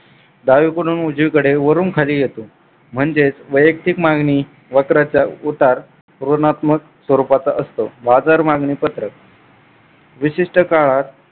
डावीकडून उजवीकडे वरून खाली येतो म्हणजेच वैयक्तिक मागणी वक्राचा उतार ऋणात्मक स्वरूपाचा असतो. बाजार मागणी पत्रक विशिष्ट काळात